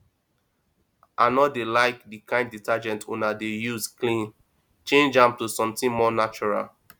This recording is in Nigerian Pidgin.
i no dey like the kin detergent una dey use clean change am to something more natural